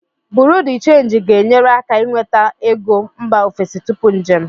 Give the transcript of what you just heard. Buru de Change ga-enyere aka inweta ego mba ofesi tupu njem.